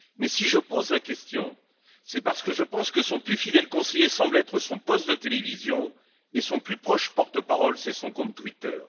Si je pose la question, c'est parce que je pense que son plus fidèle conseiller semble être son poste de télévision et son plus proche porte parole, c'est son compte Twitter.